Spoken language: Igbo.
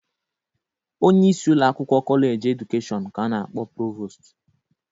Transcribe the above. Onye isi ụlọakwụkwọ Kọleji Edukeshọn ka a na-akpọ Provost.